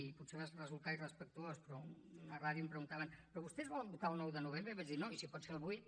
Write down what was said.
i potser va resultar irrespectuós però en una ràdio em preguntaven però vostès volen votar el nou de novembre i vaig dir no i si pot ser el vuit